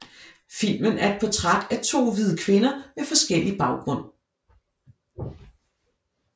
Filmen er et portræt af to hvide kvinder med forskellig baggrund